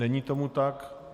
Není tomu tak.